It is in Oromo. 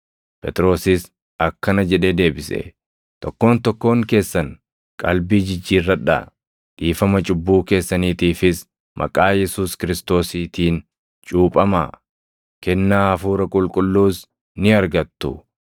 Phexrosis akkana jedhee deebise; “Tokkoon tokkoon keessan qalbii jijjiirradhaa; dhiifama cubbuu keessaniitiifis maqaa Yesuus Kiristoosiitiin cuuphamaa; kennaa Hafuura Qulqulluus ni argattu.